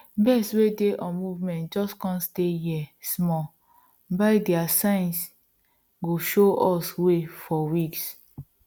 birds wey dey on movement just come stay here smallbuy their signs go show us way for weeks